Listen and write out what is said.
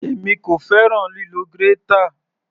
Èmi kò fẹ́ràn lílo grater.